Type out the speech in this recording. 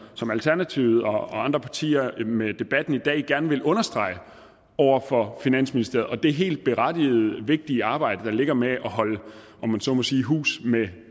som alternativet og andre partier med debatten i dag gerne vil understrege over for finansministeriet og det helt berettigede vigtige arbejde der ligger med at holde om man så må sige hus med